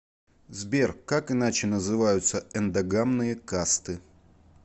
сбер как иначе называются эндогамные касты